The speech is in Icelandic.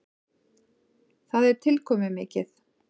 Það er tilkomumikið.